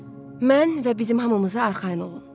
Mən və bizim hamımıza arxayın olun.